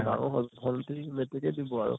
ডাঙৰ হʼল । ভন্টী metric কেই দিব আৰু ।